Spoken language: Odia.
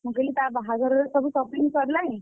ମୁଁ କହିଲି ତା ବାହାଘରର ସବୁ shopping ସରିଲାଣି ?